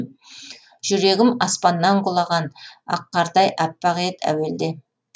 жүрегім аспаннан құлаған ақ қардай аппақ ед әуелде